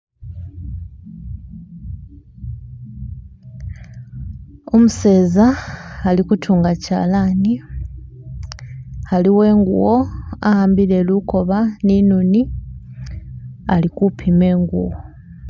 Umuseza ali kutunga kyalani haliwo ingubo ahambile lukoba ni inoni ali kupima ingubo